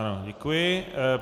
Ano, děkuji.